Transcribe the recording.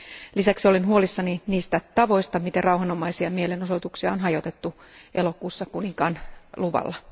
Lisäksi olen huolissani niistä tavoista, miten rauhanomaisia mielenosoituksia on hajotettu elokuussa kuninkaan luvalla.